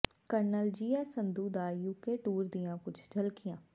colonel G S Sandhu ਦਾ UK tour ਦੀਆਂ ਕੁੱਝ ਝਲਕੀਆਂ